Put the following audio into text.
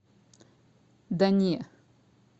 да не